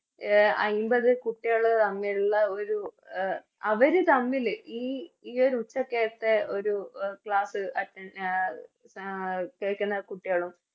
A അയിമ്പത് കുട്ടികള് തമ്മിലുള്ള ഒരു അവര് തമ്മില് ഈ ഈയൊരു ഉച്ചക്കെത്തെ ഒരു Class attend ആഹ് ആഹ് കേക്കുന്ന കുട്ടിയാളും